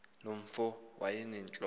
loo mfo wayenentloko